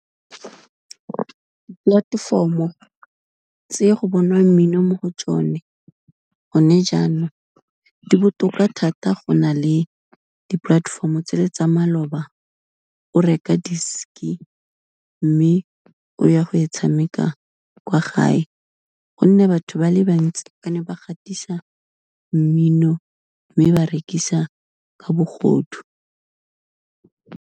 Polatefomo tse go bonwang mmino mo go tsone gone jaanong, di botoka thata go na le dipolatefomo tse le tsa maloba, o reka disk-i mme o ya go e tshameka kwa gae, gonne batho ba le bantsi ba ne ba gatisa mmino, mme ba rekisa ka bogodu.